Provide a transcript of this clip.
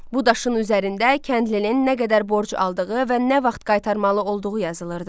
Bu daşın üzərində kəndlinin nə qədər borc aldığı və nə vaxt qaytarmalı olduğu yazılırdı.